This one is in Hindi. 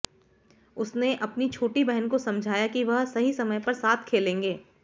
उसने अपनी छोटी बहन को समझाया कि वह सही समय पर साथ खेलेंगे